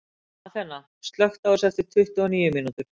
Athena, slökktu á þessu eftir tuttugu og níu mínútur.